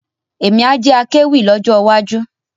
Emi a jẹ akéwì lọ́jọ́ wá ju